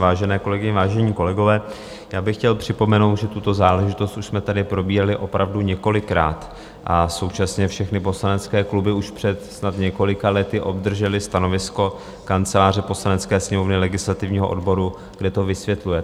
Vážené kolegyně, vážení kolegové, já bych chtěl připomenout, že tuto záležitost už jsme tady probírali opravdu několikrát a současně všechny poslanecké kluby už před snad několika lety obdržely stanovisko Kanceláře Poslanecké sněmovny, legislativního odboru, kde to vysvětluje.